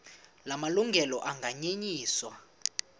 la malungelo anganyenyiswa